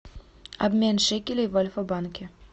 обмен шекелей в альфа банке